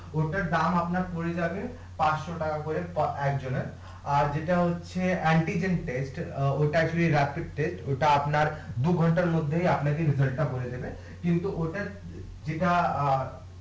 ওটার দাম আপনার পড়ে যাবে পাঁচশ টাকা করে একজনের আর যেটা হচ্ছে ওটা একটু ওটা আপনার দুই ঘন্টার মধ্যে আপনাকে টা বলে দেবে কিন্তু ওটার অ্যাঁ